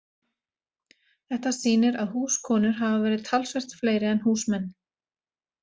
Þetta sýnir að húskonur hafa verið talsvert fleiri en húsmenn.